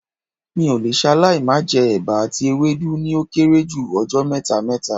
Mi ò le ṣaláì má jẹ́ ẹba àti ewédú ní ó kéré jù ọjọ́ mẹ́ta mẹ́ta